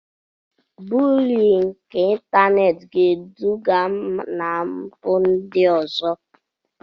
Bulii nke ịntanetị ga-eduga na mpụ ndị ọzọ.